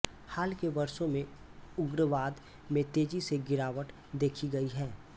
हाल के वर्षों में उग्रवाद में तेजी से गिरावट देखी गयी है